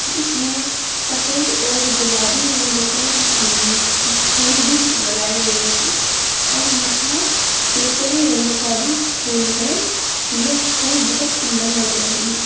जिस में सफ़ेद और गुलाबी रंग के उम्म फूल भी लगाई गई हैं और यहाँ केसरी रंग का भी फूल है। यह फूल बहुत सुंदर लग रहें हैं।